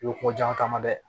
I bɛ kojan caman dɛ